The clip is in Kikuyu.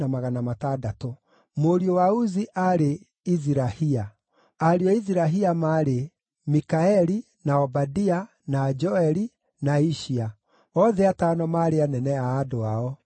Mũriũ wa Uzi aarĩ: Izirahia. Ariũ a Izirahia maarĩ: Mikaeli, na Obadia, na Joeli, na Ishia. Othe atano maarĩ anene a andũ ao.